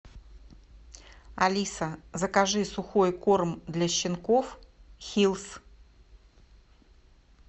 алиса закажи сухой корм для щенков хиллс